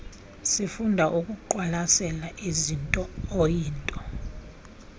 sifunda ukuqwalasela izintooyinto